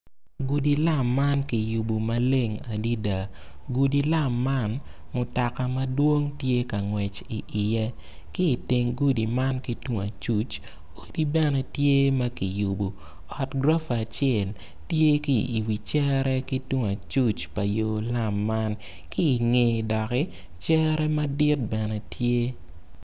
Gudi lam man kiyubo maleng adada, gudi lam man mutoka madwong tye ka wot iye, ki i teng gudi man ki tung acuc, odi bene tye ma kiyubo ot gurufa tye i yo tung acuc pa yo man ki i ngeye doki cere bene tye.